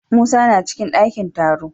Musa na cikin dakin taro.